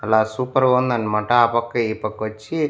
అలా సూపర్ గుందనమాట ఆ పక్క ఈ పక్క వచ్చి.